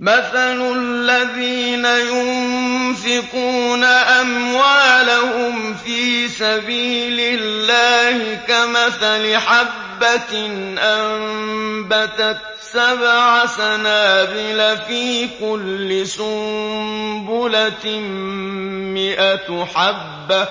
مَّثَلُ الَّذِينَ يُنفِقُونَ أَمْوَالَهُمْ فِي سَبِيلِ اللَّهِ كَمَثَلِ حَبَّةٍ أَنبَتَتْ سَبْعَ سَنَابِلَ فِي كُلِّ سُنبُلَةٍ مِّائَةُ حَبَّةٍ ۗ